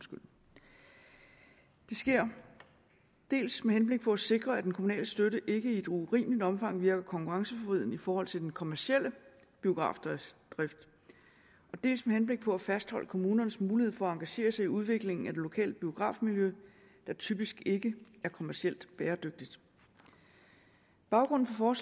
det sker dels med henblik på at sikre at den kommunale støtte ikke i et urimeligt omfang virker konkurrenceforvridende i forhold til den kommercielle biografdrift dels med henblik på at fastholde kommunernes mulighed for at engagere sig i udviklingen af det lokale biografmiljø der typisk ikke er kommercielt bæredygtigt baggrunden for